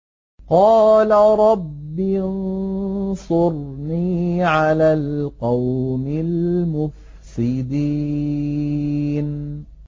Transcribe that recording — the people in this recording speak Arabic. قَالَ رَبِّ انصُرْنِي عَلَى الْقَوْمِ الْمُفْسِدِينَ